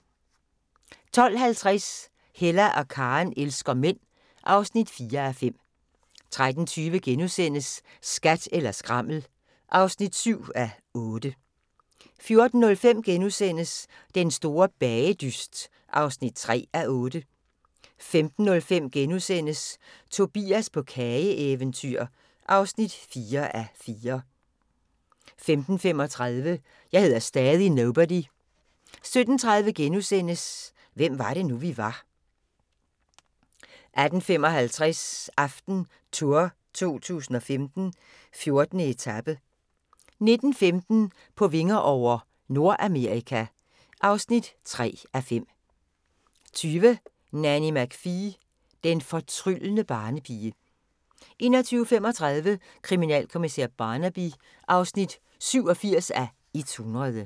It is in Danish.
12:50: Hella og Karen elsker mænd (4:5) 13:20: Skat eller skrammel (7:8)* 14:05: Den Store Bagedyst (3:8)* 15:05: Tobias på kageeventyr (4:4)* 15:35: Jeg hedder stadig Nobody 17:30: Hvem var det nu, vi var * 18:55: AftenTour 2015: 14. etape 19:15: På vinger over – Nordamerika (3:5) 20:00: Nanny McPhee – den fortryllende barnepige 21:35: Kriminalkommissær Barnaby (87:100)